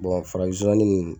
Bon farafin zonzannin minnu